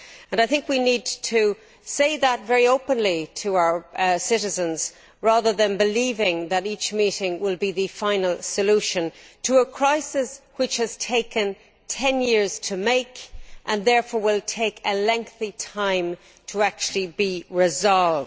I think we need to say that very openly to our citizens, rather than believing that each meeting will be the final solution to a crisis which has taken ten years to make and therefore will take a lengthy time to actually be resolved.